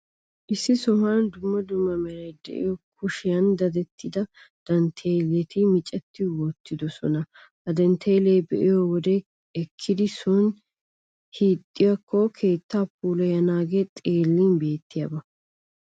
Issi sohuwan dumma dumma meray de'iyoo kushiyan dadettida dantteeleti micetti uttidoosona. Ha dantteeleta be'iyoo wode ekkidi soon hiixxiyaakko keettaa puulayanaagee xeellin bettiyaaba.